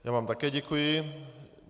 Já vám také děkuji.